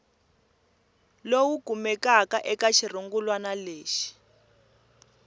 lowu kumekaka eka xirungulwana lexi